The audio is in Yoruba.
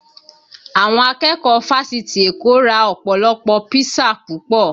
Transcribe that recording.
Àwọn akẹ́kọ̀ọ́ fásitì Èkó ra ọpọlọpo písà púpọ̀